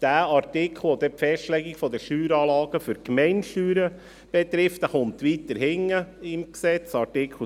Der Artikel, der die Festlegung der Steueranlagen für die Gemeindesteuern betrifft, kommt weiter hinten im Gesetz, bei Artikel 250.